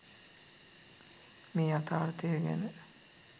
මේ යථාර්ථය ගැන